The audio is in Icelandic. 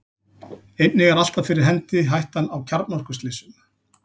einnig er alltaf fyrir hendi hættan á kjarnorkuslysum